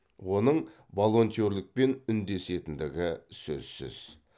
оның волонтерлікпен үндесетіндігі сөзсіз